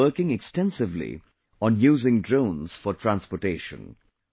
India is working extensively on using drones for transportation